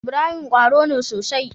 Ibrahim qwaro ne sosai